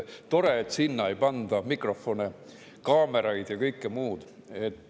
Tore, et sinna ei panda mikrofone, kaameraid ja kõike muud.